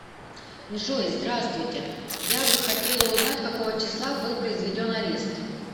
джой здравствуйте я бы хотела узнать какого числа был произведен арест